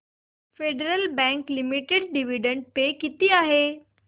federal Bank Limited dividend pay किती आहे